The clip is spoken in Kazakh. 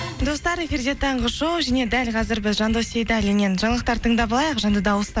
достар эфирде таңғы шоу және дәл қазір біз жандос сейдаллиннен жаңалықтар тыңдап алайық жанды дауыста